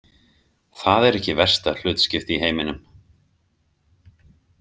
Það er ekki versta hlutskipti í heiminum.